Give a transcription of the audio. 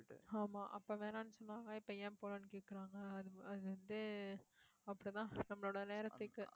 ஆமா அப்ப வேணாம்னு சொன்னாவங்க இப்ப ஏன் போகலைன்னு கேக்குறாங்க அது அது வந்து, அப்படிதான் நம்மளோட நேரத்துக்கு